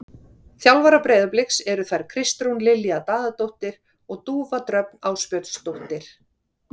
Þjálfarar Breiðabliks eru þær Kristrún Lilja Daðadóttir og Dúfa Dröfn Ásbjörnsdóttir.